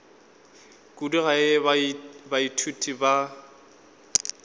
kudu ka ge baithuti ba